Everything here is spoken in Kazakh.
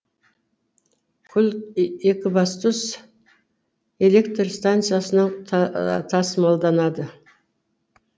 күл екібастұз электр станцияларынан тасымалданады